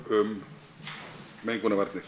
um mengunarvarnir